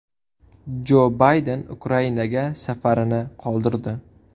Jo Bayden Ukrainaga safarini qoldirdi.